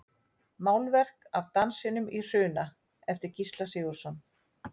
Málverk af Dansinum í Hruna eftir Gísla Sigurðsson.